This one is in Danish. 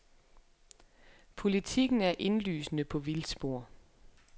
Politiken er indlysende på vildspor.